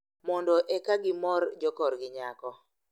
Mondo eka gimor jokorgi nyako.